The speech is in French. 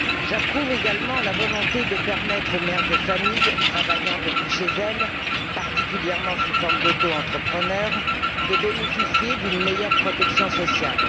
J'approuve également la volonté de permettre aux mères de famille travaillant depuis chez elles, particulièrement sous statut d'auto entrepreneur, de bénéficier d'une meilleure protection sociale.